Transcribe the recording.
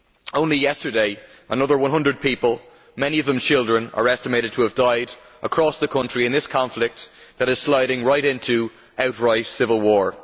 Only yesterday, another one hundred people, many of them children, are estimated to have died across the country in this conflict that is sliding right into outright civil war.